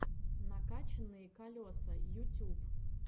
накачанные колеса ютюб